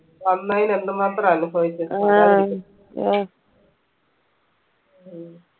വന്നയിന് എന്ത് മാത്രം അനുഭവിച്ച് ഉം